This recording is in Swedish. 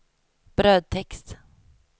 brödtext